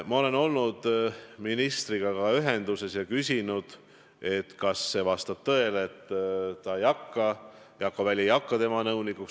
Ma olen olnud ministriga ühenduses ja küsinud, kas see vastab tõele, et Jakko Väli ei hakka tema nõunikuks.